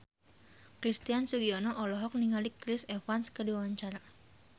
Christian Sugiono olohok ningali Chris Evans keur diwawancara